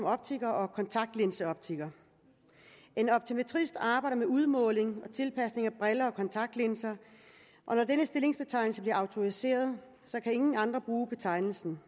optiker og kontaktlinseoptiker en optometrist arbejde med udmåling og tilpasning af briller og kontaktlinser og når den stillingsbetegnelse bliver autoriseret kan ingen andre bruge betegnelsen